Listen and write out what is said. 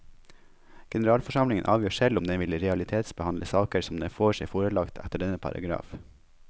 Generalforsamlingen avgjør selv om den vil realitetsbehandle saker som den får seg forelagt etter denne paragraf.